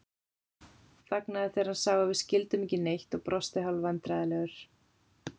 Þagnaði þegar hann sá að við skildum ekki neitt og brosti hálfvandræðalegur.